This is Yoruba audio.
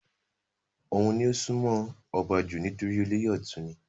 òun ni ó sún mọ́ ọba jù nítorí olóyè ọ̀tún ni